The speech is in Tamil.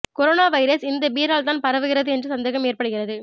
கொரோனா வைரஸ் இந்த பீரால் தான் பரவுகிறது என்ற சந்தேகம் ஏற்படுகிறது